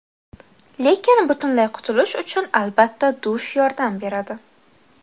Lekin butunlay qutulish uchun albatta dush yordam beradi.